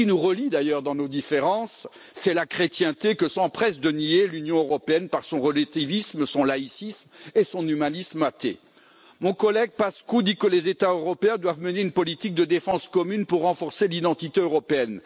Ce qui nous relie d'ailleurs dans nos différences, c'est la chrétienté, que s'empresse de nier l'Union européenne par son relativisme, son laïcisme et son humanisme athée. Mon collègue Paşcu dit que les États européens doivent mener une politique de défense commune pour renforcer l'identité européenne.